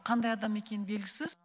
қандай адам екені белгісіз